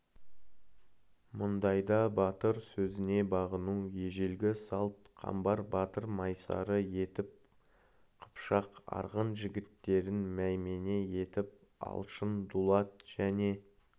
мұндайда батыр сөзіне бағыну ежелгі салт қамбар батыр майсары етіп қыпшақ арғын жігіттерін маймене етіп алшын дулат және